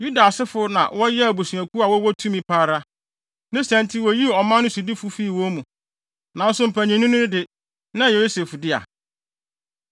Yuda asefo na wɔyɛɛ abusuakuw a wɔwɔ tumi pa ara; ne saa nti woyii ɔman no sodifo fii wɔn mu, nanso mpanyinni no de, na ɛyɛ Yosef dea.